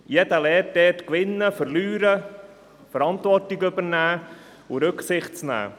Jeder lernt dort gewinnen, verlieren, Verantwortung zu übernehmen und Rücksicht zu nehmen.